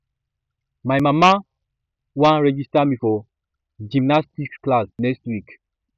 my mama wan register me for one gymnastics class next week